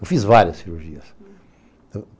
Eu fiz várias cirurgias.